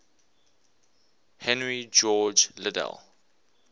henry george liddell